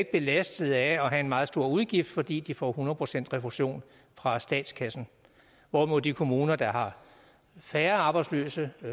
belastet af at have en meget stor udgift fordi de får hundrede procent refusion fra statskassen hvorimod de kommuner der har færre arbejdsløse